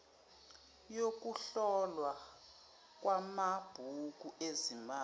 yokuhlolwa kwamabhuku ezimali